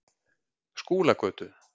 Skúlagötu